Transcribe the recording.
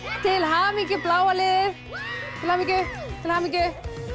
til hamingju bláa liðið til hamingju